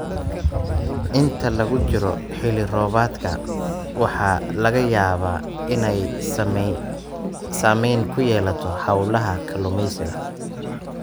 Inta lagu jiro xilli-roobaadka, waxaa laga yaabaa inay saameyn ku yeelato hawlaha kalluumeysiga.